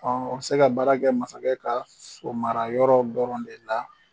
o bɛ se ka baara kɛ masakɛ ka so mara yɔrɔw dɔrɔn de la.